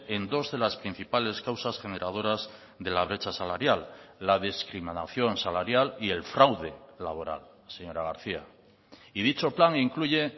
en dos de las principales causas generadoras de la brecha salarial la discriminación salarial y el fraude laboral señora garcía y dicho plan incluye